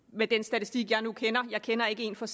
med den statistik jeg nu kender jeg kender ikke en for